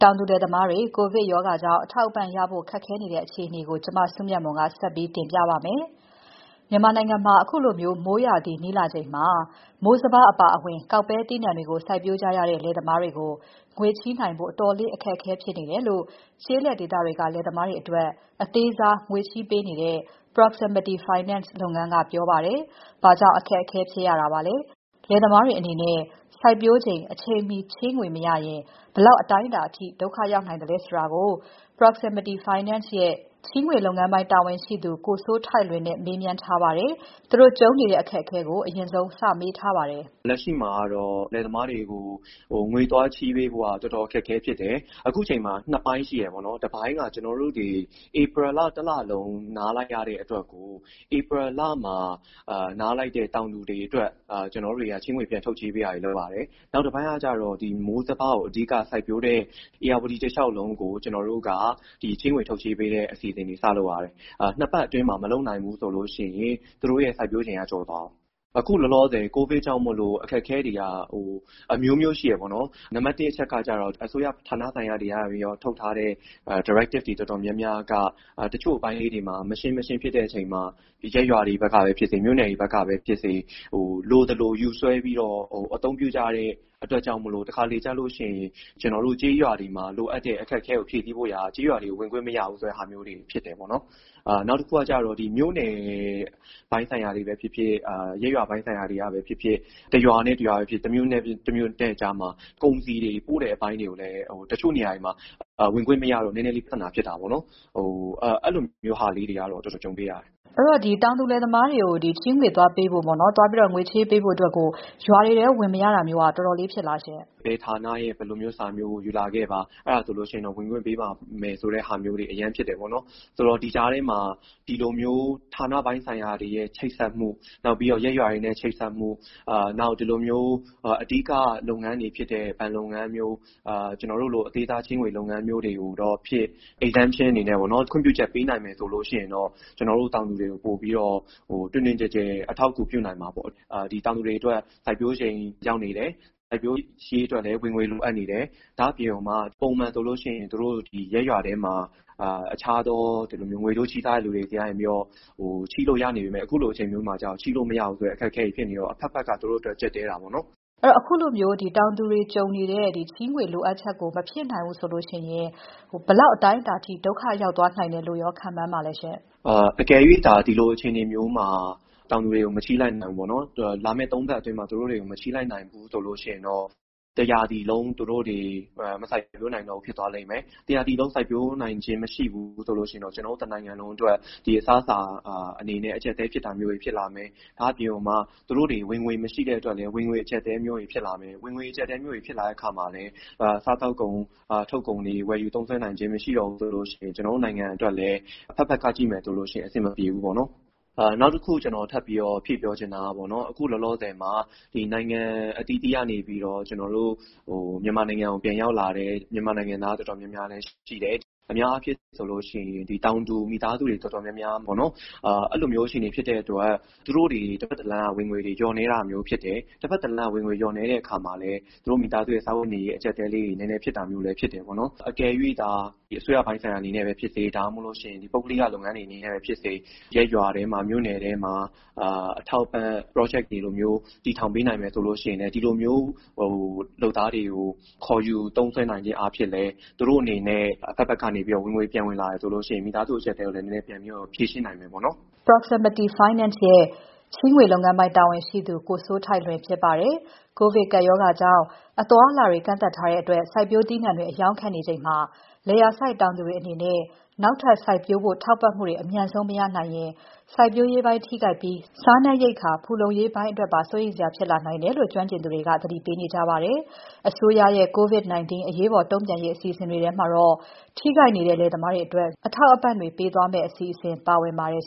တောင်သူလယ်သမားတွေ ကိုဗစ်ရောဂါကြောင့် အထောက်အပံ့ရဖို့ခက်ခဲနေတဲ့ အခြေအနေကို မ စုမြတ်မွန်က ဆက်ပြီးတင်ပြပါမယ်။ မြန်မာနိုင်ငံမှာ အခုလို မိုးရာသီနီးလာချိန်မှာ မိုးစပါးအပါအဝင် ကောက်ပဲသီးနှံတွေကို စိုက်ပျိုးကြရတဲ့ လယ်သမားတွေကို ငွေေချေးနိုင်ဖို့ အတော်လေးအခက်အခဲဖြစ်နေတယ်လို့ ကျေးလက်ဒေသတွေက လယ်သမားတွေအတွက် အသေးစားငွေချေးပေးနေတဲ့ Proximity Finance လုပ်ငန်းက ပြောပါတယ်။ ဘာကြောင့် အခက်အခဲဖြစ်ရသလဲ၊ လယ်သမားတွေအနေနဲ့ စိုက်ပျိုးချိန် အချိန်မှီချေးငွေမရရင် ဘယ်လောက်အတိုင်းအတာအထိ ဒုက္ခရောက်နိုင်သလဲဆိုတာကို Proximity Finance ရဲ့ချေးငွေလုပ်ငန်းပိုင်း တာဝန်ရှိသူ ကိုစိုးထိုက်လွင်ကို မစုမြတ်မွန် မေးမြန်းထားပါတယ်။ သူတို့ကြုံနေတဲ့ အခက်အခဲကို မေးမြန်းစဉ် သူက အခုလိုစပြောပါတယ်။ လက်ရှိမှာတော့ တောင်သူလယ်သမားတွေကို ငွေသွားချေးပေးဖို့က တော်တော် အခက်အခဲဖြစ်တယ်။ အခုအချိန်မှာ ၂ ပိုင်းရှိတယ်ပေါ့နော်၊ တပိုင်းက ကျနော်တို့ ဧပြီလ တလလုံး နားလိုက်ရတဲ့အတွက်ကို ဧပြီလမှာ နားလိုက်တဲ့ တောင်သူတွေအတွက် ကျနော်တို့တွေက ချေးငွေတွေ ပြန်ထုတ်ချေးတာတွေ လုပ်ရတယ်။ နောက်တပိုင်းကတော့ မိုးစပါးကို အဓိက စိုက်ပျိုးတဲ့ ဧရာဝတီတလျောက်လုံးကို ကျနော်တို့က ချေးငွေထုတ်ချေးပေးတဲ့ အစီအစဉ်တွေ စလုပ်ရတယ်။ ၂ ပတ်အတွင်းမှာ မလုပ်နိုင်ဘူးဆိုရင် သူတို့ စိုက်ပျိုးချိန်က ကျော်သွားရော။ အခုလောလောဆည် COVID ကြောင့် အခက်အခဲတွေက အမျိုးမျိုးရှိတယ်ပေါ့နော်။ နံပတ် ၁ အချက်ကတော့ အစိုးရ ဌာနဆိုင်ရာတွေ ထုတ်ထားတာတော်တော်များများက တချို့အပိုင်းလေးတွေမှာ မရှင်းမရှင်းဖြစ်တဲ့အချိန်မှာ ရပ်ရွာတွေဘက်က ဖြစ်စေ မြို့နယ်တွေဘက်က ဖြစ်စေ၊ လိုသလို ယူစွဲပြီးတော့ အသုံးပြုကြရတဲ့ အတွက်ကြောင့် တခါတလေကျရင် ကျနော်တို့ ကျေးရွာတွေမှာ လိုအပ်တဲ့ အခက်အခဲကို ဖြည့်ဖို့ ကျေးရွာတွေမှာ ဝင်ခွင့်မရဘူးဆိုတာမျိုးတွေ ဖြစ်တယ်ပေါ့နော်။ နောက်တခုကတော့ မြို့နယ်ပိုင်းဆိုင်ရာတွေ ကပဲ ဖြစ်ဖြစ်၊ ရပ်ရွာပိုင်းဆိုင်ရာတွေကပဲ ဖြစ်ဖြစ် ၊ တရွာနဲ့ တရွာပဲ ဖြစ်ဖြစ် တမြို့နယ်နဲ့ တမြို့နယ် အကြားမှာ ကုန်စည်တွေ ပို့တဲ့အပိုင်းတွေ တချို့နေရာတွေမှာ ဝင်ခွင့်မရတော့ နည်းနည်းလေး ပြဿနာ ဖြစ်တာပေါ့နော်။ အဲဒါမျိုးဟာလေးတွေတော့ တော်တော်ကြုံခဲ့ရတယ်။ အဲတော့ တောင်သူလယ်သမားတွေကို ငွေသွားချေးပေးဖို့ ရွာတွေထဲ ဝင်မရတာမျိုးက တော်တော်ဖြစ်တာလားရှင့်။ ဘယ်ဌာနရဲ့ ဘယ်လိုမျိုး စာမျိုးကို ယူလာခဲ့ပါ။ အဲဒါဆိုရင် ဝင်ခွင့်ပေးပါမယ် ဆိုတာမျိုးတွေ အရမ်းဖြစ်တယ်ပေါ့နော်။ ဒီကြားထဲမှာ ဌာနပိုင်းဆိုင်ရာတွေရဲ့ ချိတ်ဆက်မှု နောက်ပြီးတော့ ရပ်ရွာတွေနဲ့ ချိတ်ဆက်မှု နောက် ဒီလိုမျိုး အဓိက လုပ်ငန်းတွေဖြစ်တဲ့ ဘဏ်လုပ်ငန်းမျိုး ကျနော်တို့လို အသေးစားချေးငွေ လုပ်ငန်းမျိုးတွေကိုတော့ ချွင်းချက်အနေနဲ့ခွင့်ပြုချက်ပေးနိုင်မယ်ဆိုရင်တော့ ကျနော်တို့ တောင်သူတွေကို ပိုပြီးတော့ တွင်တွင်ကျယ်ကျယ် အထောက်အကူ ပြုနိုင်မှာပေါ့နော်။ တောင်သူတွေအတွက် စိုက်ပျိုးချိန်ရောက်နေတယ်၊ စိုက်ပျိုးရေးအတွက်လည်း ငွေလိုအပ်နေတယ်။ ဒါ့အပြင် ပုံမှန်ဆိုရင် သူတို့ ရပ်ရွာမှာ အခြားငွေတိုးချေးစားတဲ့လူတွေက ချေးလို့ရနေပေမယ့် အခုလိုအခြေအနေမှာက ချေးလို့မရတဲ့ အခက်အခဲတွေ ဖြစ်နေတော့ အဘက်ဘက်က သူတို့အတွက် ကျပ်တည်းတာပေါ့နော်။ အခုလို တောင်သူတွေကြုံနေတဲ့ အခက်အခဲကို မဖြည့်ဆည်းနိုင်ရင် ဘယ်လောက်အတိုင်းအတာအထိ ဒုက္ခရောက်သွားနိုင်တယ်လို့ရော ခန့်မှန်းပါလဲ။ အကယ်၍ ဒီ လိုအခြေအနေမျိုးမှာလာမယ့် ၃ ပတ်အတွင်း တောင်သူတွေကို မချေးလိုက်နိုင်ဘူး ဆိုရင် တရာသီလုံး သူတို့တွေ မစိုက်ပျိုးနိုင်ဘူး ဖြစ်သွားမယ်။ တရာသီလုံး သူတို့တွေ စိုက်ပျိုးနိုင်ခြင်းမရှိဘူးဆိုရင် ကျနော်တို့ တနိုင်ငံလုံးအတွက် အစားအစာ အကျပ်အတည်း ဖြစ်တာမျိုးတွေ ဖြစ်လာမယ်။ ဒါ့အပြင် သူတို့တွေ ဝင်ငွေမရှိတဲ့အတွက်လည်း ဝင်ငွေ အကျပ်အတည်းမျိုးတွေ ဖြစ်လာမယ်။ ဝင်ငွေ အကျပ်အတည်းမျိုးတွေ ဖြစ်လာတဲ့အခါမှာ စားသောက်ကုန် တွေ ထုတ်ကုန်တွေ ဝယ်ယူသုံးစွဲနိုင်ခြင်းမရှိတော့ဘူးဆိုရင် ကျနော်တို့ နိုင်ငံအတွက်လည်း အဘက်ဘက်က ကြည့်မယ်ဆိုရင် အဆင်မပြေဘူးပေ့ါနော်။ နောက်တခု ကျနော် ထပ်ဖြည့်ပြီးတော့ ပြောချင်တာကတော့ အခုလောလောဆည်မှာ နိုင်ငံအသီးသီးကနေပြီးတော့ ကျနော်တို့ မြန်မာနိုင်ငံကို ပြန်ရောက်လာတဲ့ နိုင်ငံသား တော်တော်များများလည်းရှိတယ်။ အများအားဖြင့်ဆိုရင် တောင်သူ မိသားစုတွေ တော်တေ်ာများများ အဲလိုအခြေအနေဖြစ်တဲ့အတွက် သူတို့တွေ တဖက်တလမ်းကနေပြီးတော့ ဝင်ငွေတွေ လျော့နည်းတာမျိုးတွေဖြစ်တယ်။ တဖက်တလမ်းကနေ ဝင်ငွေ လျော့နည်းတဲ့အခါမှာ သူတို့ မိသားစုရဲ့ စားဝတ်နေရေး အကျပ်အတည်း တွေလည်း ဖြစ်တာမျိုးတွေ ဖြစ်တယ်ပေါ့နော်။ အကယ်၍ အစိုးရပိုင်းဆိုင်ရာမျိုးကနေဖြစ်စေ ဒါမှမဟုတ်ရင် ပုဂ္ဂလိက လုပ်ငန်းဆိုင်ရာမျိုးကပဲ ဖြစ်စေ ရပ်ရွာထဲမှာ မြို့နယ်ထဲမှာ အထောက်အပံ့ Project တွေလိုမျိုး တည်ထောင်ပေးနိုင်မယ်ဆိုရင် ဒီလိုမျိုး လုပ်သားတွေကို ခေါ်ယူ သုံးစွဲနိုင်ခြင်းအားဖြင့် သူတို့အနေနဲ့ အဘက်ဘက်ကနေ ဝင်ငွေ ပြန်ဝင်လာတယ်ဆိုရင် မိသားစု အကျပ်အတည်းကိုလည်း နည်းနည်းဖြေရှင်း နိုင်မယ်ပေါ့နော်။ Proximity Finance ရဲ့ငွေချေးလုပ်ငန်းပိုင်း တာဝန်ရှိသူ ကိုစိုးထိုက်လွင်ဖြစ်ပါတယ်။ ကိုဗစ်ကပ်ရောဂါကြောင့် အသွားအလာတွေ ကန့်သတ်ထားတဲ့အတွက် စိုက်ပျိုးသီးနှံတွေ အရောင်းခက်နေချိန်မှာ လယ်ယာစိုက်တောင်သူတွေအနေနဲ့ နောက်ထပ်စိုက်ပျိုးဖို့ ထောက်ပံ့မှုတွေ အမြန်ဆုံးမရနိုင်ရင် စိုက်ပျိုးရေးပိုင်းထိခိုက်ပြီး စားနပ်ရိက္ခာဖူလုံရေးပိုင်းအတွက် စိုးရိမ်စရာဖြစ်လာနိုင်တယ်လို့ ကျွမ်းကျင်သူတွေက သတိပေးနေကြပါတယ်။ အစိုးရရဲ့ COVID-19 အရေးပေါ်တုံ့ပြန်ရေး အစီအစဉ်တွေထဲမှာတော့ ထိခိုက်နေတဲ့လယ်သမားတွေအတွက် အထောက်အပံ့တွေ ပေးသွားမယ့်အစီအစဉ်ပါဝင်ပါတယ်